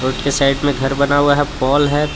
के साइड में घर बना हुआ है पोल है पे--